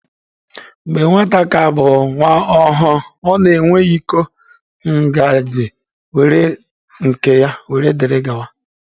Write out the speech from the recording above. Mgbe nwata ka bụ nwa ọhụrụ, ọ na-enwe iko, ngazị wdg nke ya.